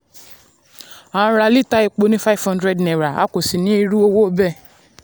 a n ra lítà epo ni five hundred a kò sì ní irú owó um bẹ́ẹ̀.